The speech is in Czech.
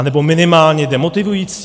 Anebo minimálně demotivující?